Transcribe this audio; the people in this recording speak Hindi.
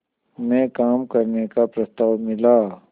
में काम करने का प्रस्ताव मिला